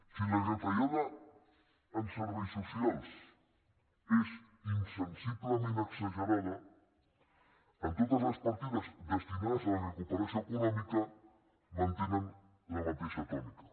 si la retallada en serveis socials és insensiblement exagerada en totes les partides destinades a la recuperació econòmica mantenen la mateixa tònica